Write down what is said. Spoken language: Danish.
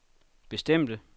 bestemte